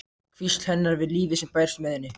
Hvísl hennar við lífið sem bærist með henni.